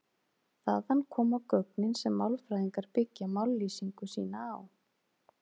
Þaðan koma gögnin sem málfræðingar byggja mállýsingu sína á.